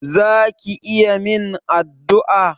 Za ki iya min addu'a?